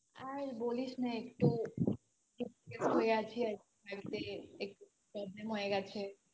আর বলিস না একটু depressed হয়ে আছি আর কি বাড়িতে একটু problem হয়ে গেছে আর কি